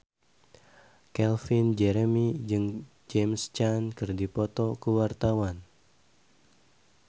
Calvin Jeremy jeung James Caan keur dipoto ku wartawan